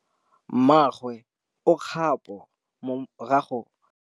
Mmagwe o kgapô morago ga tlhalô.